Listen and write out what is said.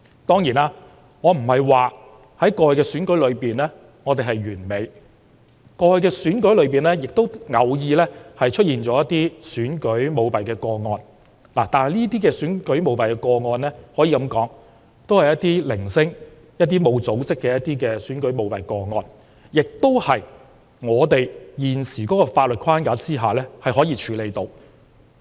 當然，我並非說過去的選舉過程完美，過去的選舉過程中偶然也會出現選舉舞弊的個案，但這些選舉舞弊個案都是零星、沒有組織的，亦是香港在現行的法律框架下可以處理的。